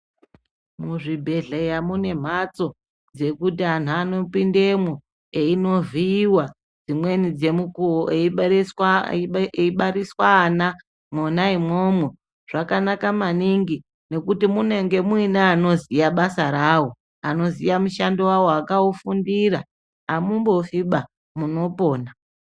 Muzvibhedhlera mune mhatso dzekuti anhu anopindemwo einovhiiwa dzimweni dzemukuwo eibariswa ana mwona imwomwo. Zvakanaka maningi ngekuti munenge muine anoziya basa rawo, anoziya mushando wawo, akaufundira amumbofiba munopona.